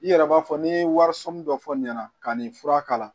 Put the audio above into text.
I yɛrɛ b'a fɔ ni wariso min dɔ fɔ nin na ka nin fura k'a la